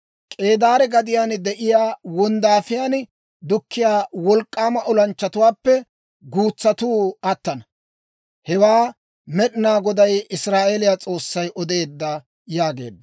K'eedaare gadiyaan de'iyaa wonddaafiyaan dukkiyaa wolk'k'aama olanchchatuwaappe guutsatuu attana; hewaa Med'inaa Goday Israa'eeliyaa S'oossay odeedda» yaageedda.